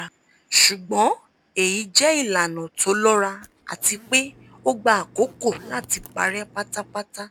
ṣùgbọ́n èyí jẹ́ ìlànà tó lọ́ra àti pé ó gba àkókò láti parẹ́ pátápátá